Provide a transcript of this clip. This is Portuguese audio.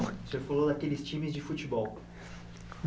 O senhor falou daqueles times de futebol